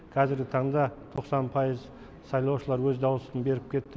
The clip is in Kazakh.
кәзіргі таңда тоқсан пайыз сайлаушылар өз даусын беріп кетті